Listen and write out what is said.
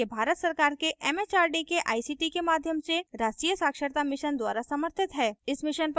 यह भारत सरकार के एमएचआरडी के आईसीटी के माध्यम से राष्ट्रीय साक्षरता mission द्वारा समर्थित है